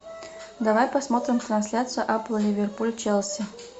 давай посмотрим трансляцию апл ливерпуль челси